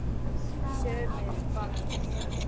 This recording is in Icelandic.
Sumir fagna mjög mikið.